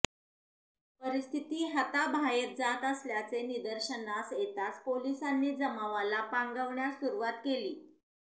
परिस्थिती हाताबाहेर जात असल्याचे निदर्शनास येताच पोलिसांनी जमावाला पांगवण्यास सुरूवात केली